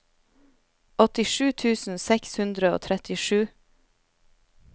åttisju tusen seks hundre og trettisju